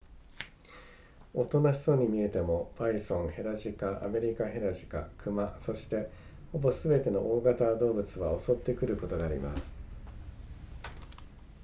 大人しそうに見えてもバイソンヘラジカアメリカヘラジカ熊そしてほぼすべての大型動物は襲ってくることがあります